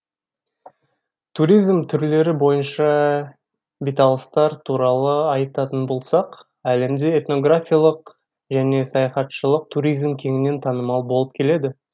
туризм түрлері бойынша беталыстар туралы айтатын болсақ әлемде этнографиялық және саяхатшылық туризм кеңінен танымал болып келеді